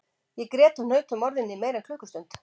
Ég grét og hnaut um orðin í meira en klukkustund